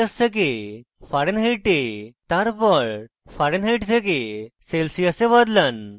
প্রথমে celsius থেকে fahrenheit এ তারপর fahrenheit থেকে celsius এ বদলান